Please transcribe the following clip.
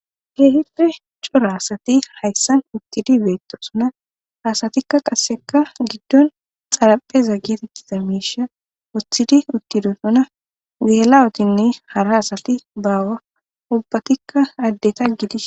Keehippe cora asati hayssan eqqidi beettosona .Asatika qasse giddon xaraphpheza geetettiza miishsha woththidi uttidosona .geela7otinne asati hara asatika baawa ubba asati addeta gidishin